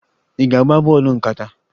Ị na-agba bọọlụ nkata?